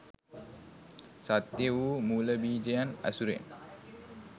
සත්‍ය වූ මූලබීජයන් ඇසුරෙන්